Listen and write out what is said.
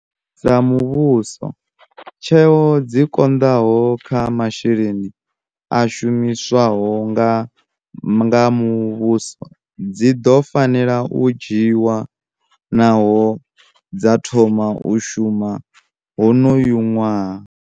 Sa muvhuso, tsheo dzi konḓaho kha masheleni a shumiswaho nga muvhuso dzi ḓo fanela u dzhiiwa nahone dza thoma u shuma honoyu ṅwaha.